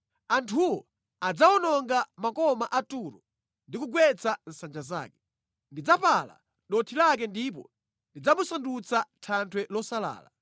Anthuwo adzawononga makoma a Turo ndi kugwetsa nsanja zake. Ndidzapala dothi lake ndipo ndidzamusandutsa thanthwe losalala.